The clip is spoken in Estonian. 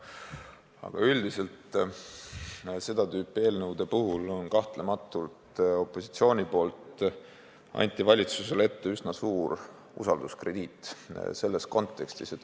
Aga üldiselt on seda tüüpi eelnõude puhul opositsioon andnud valitsusele kahtlemata üsna suure usalduskrediidi.